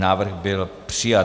Návrh byl přijat.